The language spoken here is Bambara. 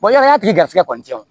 ya tigi garisigɛ kɔni